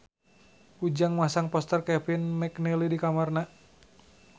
Ujang masang poster Kevin McNally di kamarna